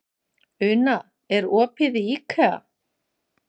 Una, er opið í IKEA?